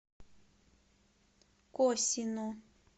косино